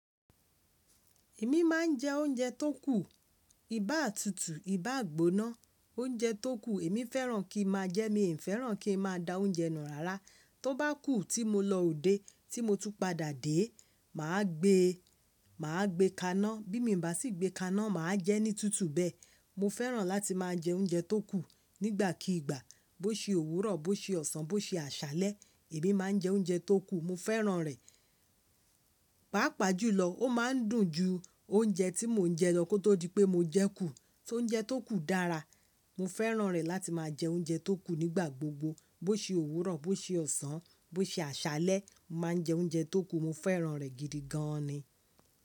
Èmi máa ń jẹ oúnjẹ tó kù, ibà tútù, ibà gbóná, oúnjẹ tó kù èmi fẹ́ràn kí n máa jẹ. Mi n fẹ́ràn kí n máa da oúnjẹ nù rárá. Tó bá kù tí mo lọ òde, tí mo tu padà dé, màá gbé, màá gbé kaná. Bí mi bà sí gbé kaná, màá jẹ ní tútù bẹ́. Mo fẹ́ràn láti máa jẹ oúnjẹ tó kù nígbàkigbà bó ṣe òwúrọ̀, bó ṣe ọ̀sán, bó ṣe àṣálẹ́. Èmi máa ń jẹ oúnjẹ tó kù, mo fẹ́ràn rẹ̀. Páàpáà jùlọ ó máa ń dùn ju oúnjẹ tí mò ń jẹ lọ kó tó di pé mo jẹ kú. Só oúnjẹ tó kù dára, mo fẹ́ràn rẹ̀ láti máa jẹ oúnjẹ tó kù nígbà gbogbo bó ṣe òwúrọ̀, bó ṣe ọ̀sán, bó ṣe àṣálẹ́. Mo máa ń jẹ oúnjẹ tó kù, mo fẹ́ràn rẹ̀ gidi gan an ni.